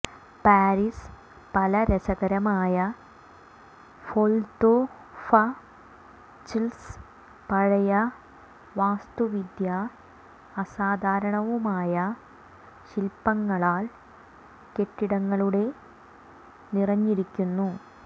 Paris പല രസകരമായ ഫൊതൊഫച്ത്സ് പഴയ വാസ്തുവിദ്യ അസാധാരണവുമായ ശില്പങ്ങളാൽ കെട്ടിടങ്ങളുടെ നിറഞ്ഞിരിക്കുന്നു